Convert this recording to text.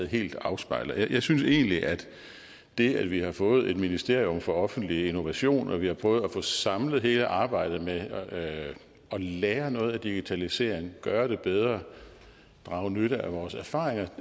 helt afspejler jeg synes egentlig at det at vi har fået en minister for offentlig innovation og at vi har prøvet at få samlet hele arbejdet med at lære noget af digitaliseringen gøre det bedre og drage nytte af vores erfaringer